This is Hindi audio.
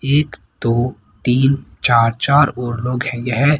एक दो तीन चार चार और लोग ये है।